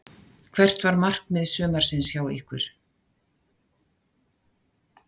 Hvert var markmið sumarsins hjá ykkur?